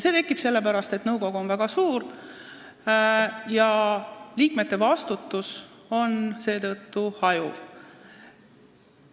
See on sellepärast nii olnud, et nõukogu on väga suur, mistõttu liikmete vastutus hajub.